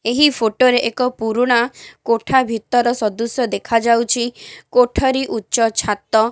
ଏହି ଫୋଟୋ ରେ ଏକ ପୁରୁଣା କୋଠା ଭିତର ସଦୃଶ୍ୟ ଦେଖା ଯାଉଚି। କୋଠରୀ ଉଚ୍ଚ ଛାତ --